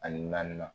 Ani naaninan